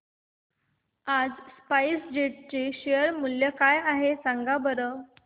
आज SpiceJet चे share मूल्य काय आहे सांगा बरं